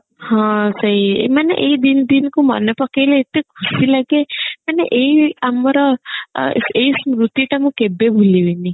ହଁ ସେଇ ମାନେ ଏଇ ଦିଦିନ କୁ ମନେ ପକେଇଲେ ଏତେ ଖୁସି ଲାଗେ ମାନେ ଏଇ ଆମର ଅ ଏଇ ସ୍ମୃତି ତ ମୁଁ କେବେ ଭୁଲି ବିନି